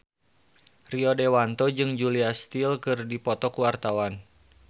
Rio Dewanto jeung Julia Stiles keur dipoto ku wartawan